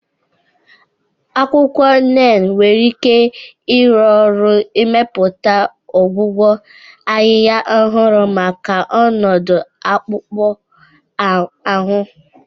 Akwụkwọ Neem nwere ike ịrụ ọrụ n'ịmepụta ọgwụgwọ ahịhịa ọhụrụ maka ọnọdụ akpụkpọ ahụ.